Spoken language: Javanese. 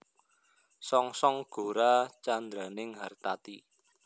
Songsong gora candraning hartati